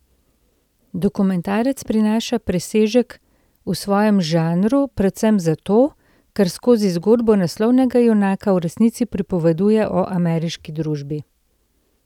Dokumentarec prinaša presežek v svojem žanru predvsem zato, ker skozi zgodbo naslovnega junaka v resnici pripoveduje o ameriški družbi.